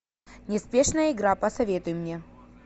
неспешная игра посоветуй мне